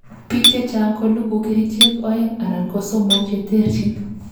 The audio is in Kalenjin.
biik chechang kolugui kerichek oeng anan kosomok cheterchin